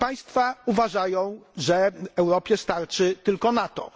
Te państwa uważają, że Europie starczy tylko NATO.